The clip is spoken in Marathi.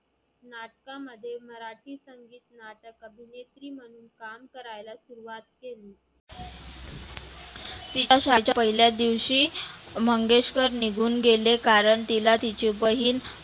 नाटकामध्ये मराठी संगित नाटक अभिनेत्री म्हणुन काम करायला सुरुवात केली. पहिल्या दिवशी मंगेशकर निघुन गेले कारण तीला तिची बहिण